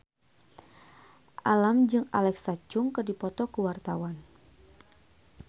Alam jeung Alexa Chung keur dipoto ku wartawan